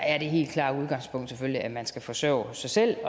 er det helt klare udgangspunkt selvfølgelig at man skal forsørge sig selv